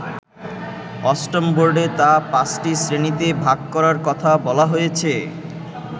অষ্টম বোর্ডে তা পাঁচটি শ্রেণিতে ভাগ করার কথা বলা হয়েছে।